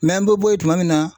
an bɛ bɔ yen tuma min na.